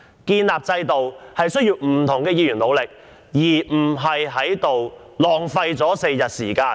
建立一套制度需要不同議員的努力，並非在此浪費4天時間。